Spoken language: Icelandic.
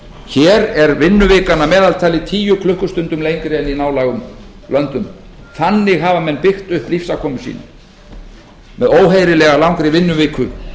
hér er vinnuvikan að meðaltali tíu klukkustund lengri en í nálægum löndum þannig hafa menn byggt upp lífsafkomu sína með óheyrilega langri vinnuviku